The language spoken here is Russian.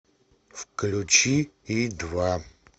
включи и два